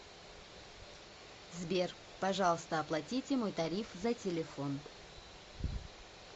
сбер пожалуйста оплатите мой тариф за телефон